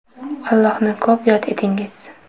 Allohni ko‘p yod etingiz!